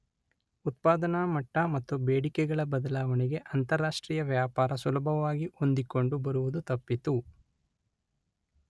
ಉತ್ಪಾದನಾ ಮಟ್ಟ ಮತ್ತು ಬೇಡಿಕೆಗಳ ಬದಲಾವಣೆಗೆ ಅಂತಾರಾಷ್ಟ್ರೀಯ ವ್ಯಾಪಾರ ಸುಲಭವಾಗಿ ಹೊಂದಿಕೊಂಡು ಬರುವುದು ತಪ್ಪಿತು.